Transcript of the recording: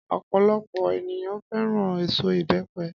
Ọ̀pọ̀lọpọ̀ ènìyàn fẹ́ràn èso ìbẹ́pẹ.